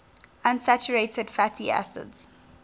unsaturated fatty acids